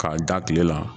K'a da tile la